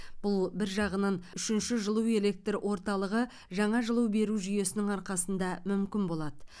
бұл бір жағынан үшінші жылу электр орталығы жаңа жылу беру жүйесінің арқасында мүмкін болады